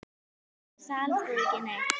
Segir það alþjóð ekki neitt?